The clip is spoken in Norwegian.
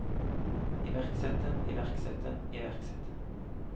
iverksette iverksette iverksette